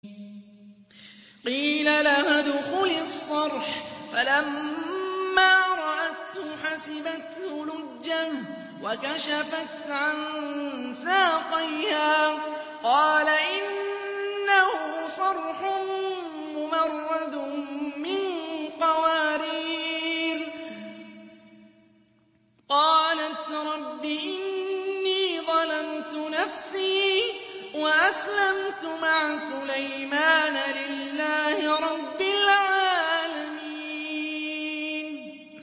قِيلَ لَهَا ادْخُلِي الصَّرْحَ ۖ فَلَمَّا رَأَتْهُ حَسِبَتْهُ لُجَّةً وَكَشَفَتْ عَن سَاقَيْهَا ۚ قَالَ إِنَّهُ صَرْحٌ مُّمَرَّدٌ مِّن قَوَارِيرَ ۗ قَالَتْ رَبِّ إِنِّي ظَلَمْتُ نَفْسِي وَأَسْلَمْتُ مَعَ سُلَيْمَانَ لِلَّهِ رَبِّ الْعَالَمِينَ